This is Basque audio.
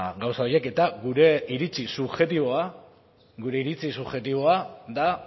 gauza horiek eta gure iritzi subjektiboa gure iritzi subjektiboa da